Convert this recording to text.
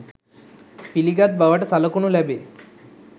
පිළිගත් බවට සලකනු ලැබේ